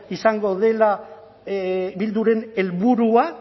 izango dela bilduren helburua